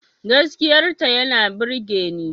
Gaskiyar ta yana burgeni